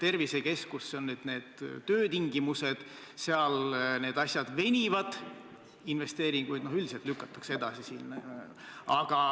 Tervisekeskus, selle töötingimused – need asjad venivad, investeeringuid üldiselt lükatakse edasi.